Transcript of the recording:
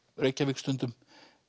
Reykjavík stundum